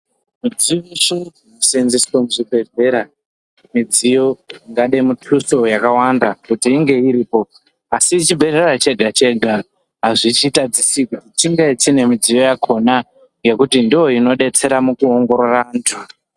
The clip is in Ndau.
Mudziyo yeshe inoshandiswa muzvibhehlera mudziyo ingade mutuso yakawanda kuti inge iripo asi chibhehlera chega chega hazvichitadzisi kuti chinge chine mudziyo yakona ngekuti ndiyo inodetsera mukuongorora vandu.